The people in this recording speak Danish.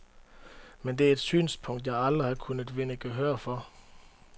Men det er et synspunkt, jeg aldrig har kunnet vinde gehør for.